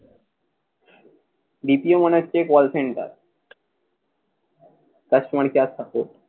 BPO মানে হচ্ছে call center customer care support